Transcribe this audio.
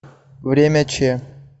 время ч